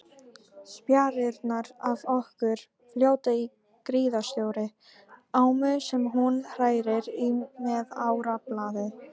Spjarirnar af okkur fljóta í gríðarstórri ámu sem hún hrærir í með árarblaði.